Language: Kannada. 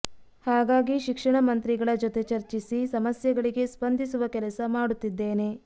ಹಾಗಾಗಿ ಶಿಕ್ಷಣ ಮಂತ್ರಿಗಳ ಜೊತೆ ಚರ್ಚಿಸಿ ಸಮಸ್ಯೆಗಳಿಗೆ ಸ್ಪಂದಿಸುವ ಕೆಲಸ ಮಾಡುತ್ತಿದ್ದೇನೆ